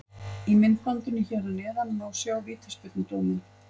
Í myndbandinu hér að neðan má sjá vítaspyrnudóminn.